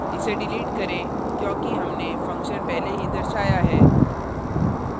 इसे डिलीट करें क्योंकि हमने function पहले ही दर्शाया है